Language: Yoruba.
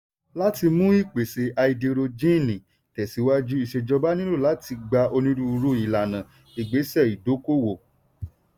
láti mú ìpèsè háídírójìnì tẹ̀síwájú ìṣèjọba nílò láti gba onírúurú ìlànà ìgbésẹ̀ ìdókòwò.